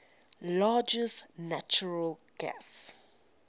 largest natural gas